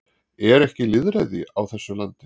Er ekki lýðræði á þessu landi?